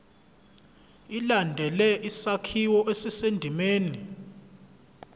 ilandele isakhiwo esisendimeni